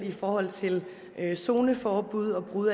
i forhold til zoneforbud og brud